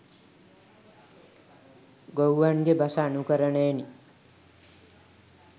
ගොව්වන්ගේ බස අනුකරණයෙනි.